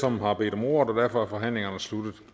som har bedt om ordet og derfor er forhandlingen sluttet